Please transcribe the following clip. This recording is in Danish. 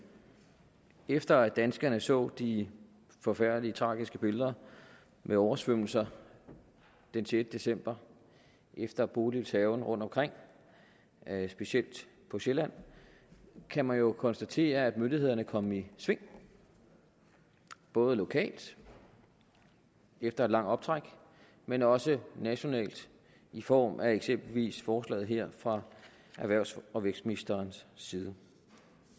efter at danskerne så de forfærdelige tragiske billeder med oversvømmelser den sjette december efter bodils hærgen rundtomkring specielt på sjælland kan man jo konstatere at myndighederne er kommet i sving både lokalt efter et langt optræk men også nationalt i form af eksempelvis forslaget her fra erhvervs og vækstministerens side